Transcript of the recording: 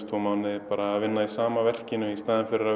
tvo mánuði að vinna í sama verkinu í staðinn fyrir að